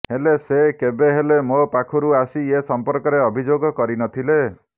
ହେଲେ ସେ କେବେ ହେଲେ ମୋ ପାଖରୁ ଆସି ଏ ସମ୍ପର୍କରେ ଅଭିଯୋଗ କରି ନଥିଲେ